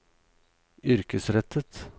yrkesrettet